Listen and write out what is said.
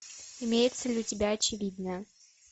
имеется ли у тебя очевидное